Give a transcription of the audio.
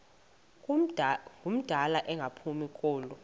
ngumdala engaphumi kulo